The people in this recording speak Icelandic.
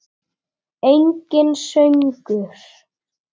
Enginn söngur.